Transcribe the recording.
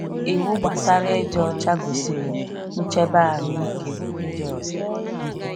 Iwu gbasara ịdị ọcha gosiri ncheba ahụike ndị ọzọ.